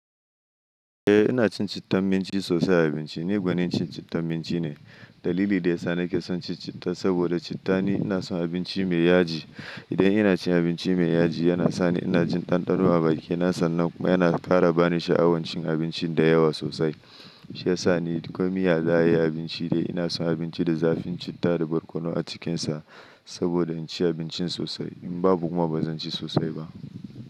Eh ina cin cittan minci sosai a abinci. Ni gwanin cin cittan minci ne. Dalili da ya sa nake son cin citta saboda citta ni ina son abinci mai yaji. Idan ina cin abinci mai yaji yana sani ina jin ɗanɗano a bakina sannan kuma yana kara bani sha'awan cin abinci da yawa sosai. Shi ya sa ni duk komin yaya za'ayi abinci dai ina son abinci da zafin citta da barkono a cikinsa saboda in ci abincin sosai. In babu kuma ba zan ci sosai ba.